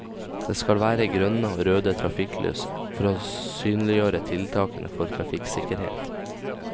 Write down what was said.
Det skal være grønne og røde trafikklys for å synliggjøre tiltakene for trafikksikkerhet.